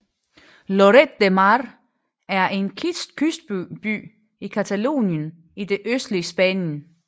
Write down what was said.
Lloret de Mar er en kystby i Catalonien i det østlige Spanien